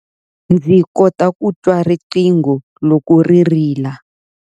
Ndzi kota ku twa riqingho loko ri rila